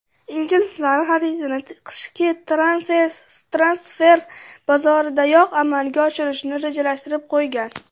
Inglizlar xaridni qishki transfer bozoridayoq amalga oshirishni rejalashtirib qo‘ygan.